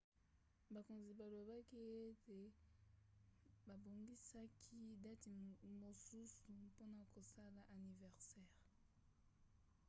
bakonzi balobaki ete babongisaki dati mosusu mpona kosala aniversere